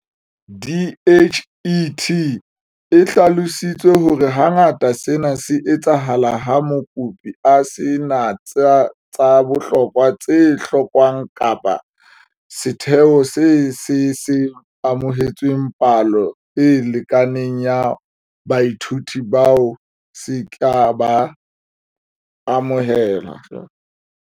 DHET e hlalositse hore hangata sena se etsahala ha mokopi a se na tsa bohlokwa tse hlokwang kapa setheo se se se amohetse palo e lekaneng ya baithuti bao se ka ba amohelang.